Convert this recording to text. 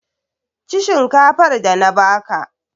Ci shinkafar da na ba ka!